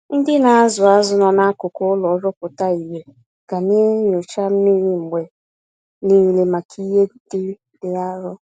Ndị nazụ azụ nọ n'akụkụ ụlọ nrụpụta ìhè, ga naenyocha mmiri mgbe nile màkà ìhè ndị dị arụ